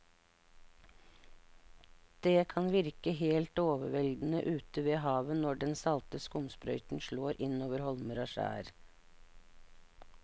Det kan virke helt overveldende ute ved havet når den salte skumsprøyten slår innover holmer og skjær.